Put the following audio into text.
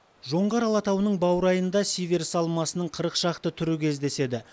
жоңғар алатауының баурайында сиверс алмасының қырық шақты түрі кездеседі